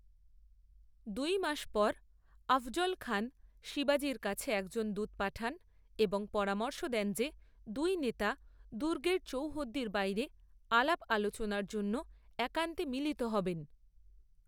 দুই মাস পর আফজল খান শিবাজীর কাছে একজন দূত পাঠান এবং পরামর্শ দেন যে দুই নেতা দুর্গের চৌহদ্দির বাইরে আলাপ আলোচনার জন্য একান্তে মিলিত হবেন।